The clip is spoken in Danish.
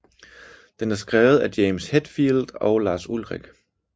Den er skrevet af James Hetfield og Lars Ulrich